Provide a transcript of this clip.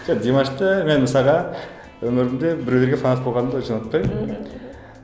димашты мен мысалға өмірімде біреуге фанат болғанымды онша ұнатпаймын